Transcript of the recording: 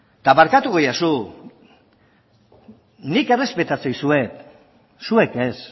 eta barkatuko didazu nik errespetatzen dizuet zuek ez